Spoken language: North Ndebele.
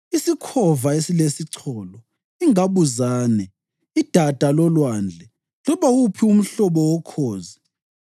isikhova esilesicholo, ingabuzane, idada lolwandle, loba wuphi umhlobo wokhozi,